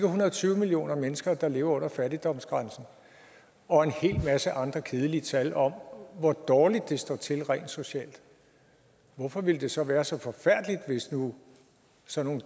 hundrede og tyve millioner mennesker der lever under fattigdomsgrænsen og en hel masse andre kedelige tal om hvor dårligt det står til rent socialt hvorfor ville det så være så forfærdeligt hvis nu sådan